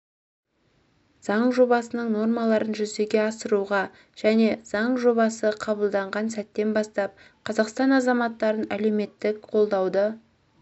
заң жобасының нормаларын жүзеге асыруға және заң жобасы қабылданған сәттен бастап қазақстан азаматтарын әлеуметтік қолдауды